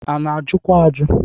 A na ajụkwa ajụ.